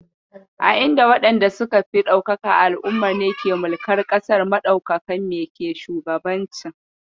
A inda waɗanda suka fi ɗaukaka a al'ummar ne ke mulkar ƙasar, maɗaukakan me ke shugabancin.